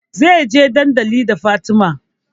Zai je dandali da Fatima